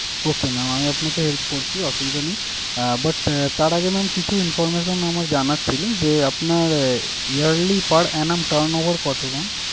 Okay mam আমি আপনাকে help করছি অসুবিধা নেই আহ but আহ তার আগে mam কিছু information আমার জানার ছিলো যে, আপনার আহ yearly per annum turn over কত?